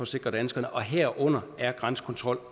sikre danskerne og herunder er grænsekontrol